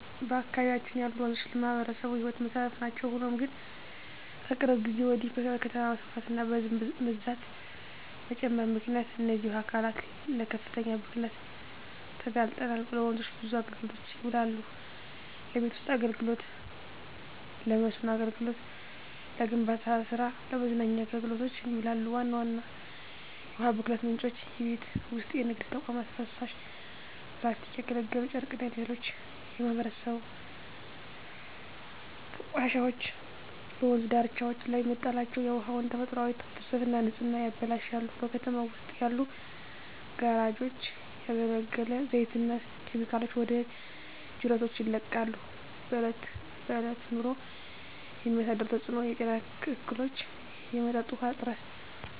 በአካባቢያችን ያሉ ወንዞች ለማኅበረሰቡ የሕይወት መሠረት ናቸው። ሆኖም ግን፣ ከቅርብ ጊዜ ወዲህ በከተማ መስፋፋትና በሕዝብ ብዛት መጨመር ምክንያት እነዚህ የውሃ አካላት ለከፍተኛ ብክለት ተጋልጠዋል። ወንዞች ለብዙ አገልግሎቶች ይውላሉ። ለቤት ውስጥ አገልግሎ፣ ለመስኖ አገልግሎት፣ ለግንባታ ስራ እና ለመዝናኛ አገልግሎቶች ይውላሉ። ዋና ዋና የውሃ ብክለት ምንጮች:- የቤት ውስጥና የንግድ ተቋማት ፍሳሽ፣ ፕላስቲኮች፣ ያገለገሉ ጨርቆችና ሌሎች የማይበሰብሱ ቆሻሻዎች በወንዝ ዳርቻዎች ላይ መጣላቸው የውሃውን ተፈጥሯዊ ፍሰትና ንጽህና ያበላሻሉ። በከተማው ውስጥ ያሉ ጋራዦች ያገለገለ ዘይትና ኬሚካሎችን ወደ ጅረቶች ይለቃሉ። በእለት በእለት ኑሮ የሚያሳድረው ተጽኖ:- የጤና እክሎች፣ የመጠጥ ውሀ እጥረት…